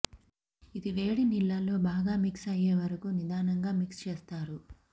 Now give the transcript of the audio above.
ఇది వేడి నీళ్లలో బాగా మిక్స్ అయ్యే వరకూ నిధానంగా మిక్స్ చేస్తారు